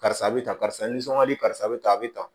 Karisa a bɛ tan karisa nisɔn ka di karisa bɛ ta a bɛ ta